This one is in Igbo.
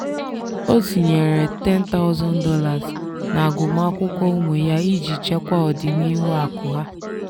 ọ tinyeere $10000 n'agụmakwụkwọ ụmụ ya iji chekwaa ọdịnihu akụ ha.